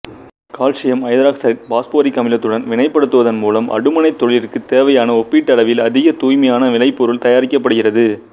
calcium ஐதராக்சைடை phosphoric அமிலத்துடன் வினைப்படுத்துவதன் மூலம் அடுமனைத் தொழிலிற்குத் தேவையான ஒப்பீட்டளவில் அதிக தூய்மையான விளைபொருள் தயாரிக்கப்படுகிறது